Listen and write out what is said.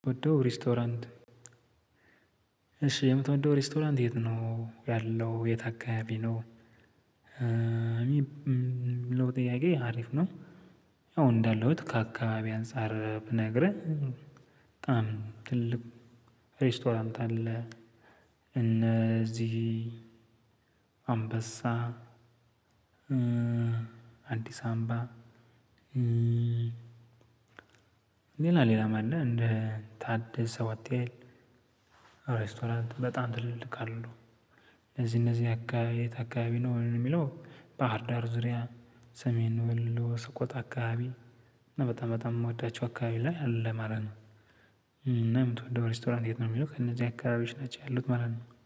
የምወደው ሬስቶራንት እሺ የምትወደው ሬስቶራንት የት ነው ያለው የት አካባቢ ነው? የሚለው ጥያቄ አሪፍ ነው። ያው እንዳለሁት ከአካባቢ አንፃር ብነግርህ በጣም ትልቅ ሬስቶራንት አለ። እነዚህ አንበሳ አዲስ አምባ። ሌላ ሌላ ማለት እንደ ታደሰ ሆቴል ሬስቶራንት በጣም ትልልቅ አሉ። እነዚህ እነዚህ አካባቢ የት አካባቢ ነው የሚለው ባህርዳር ዙሪያ፣ ሰሜን ወሎ፣ ሰቆጣ አካባቢ እና በጣም በጣም የምወዳቸው አካባቢ ላይ አለ ማለት ነው። እና የምትወደው ሬስቶራንት የት ነው የሚለው? ከነዚህ አካባቢዎች ናቸው ያሉት ማለት ነው።